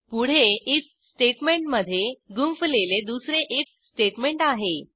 पुढे आयएफ स्टेटमेंटमधे गुंफलेले दुसरे आयएफ स्टेटमेंट आहे